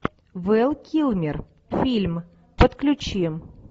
вэл килмер фильм подключи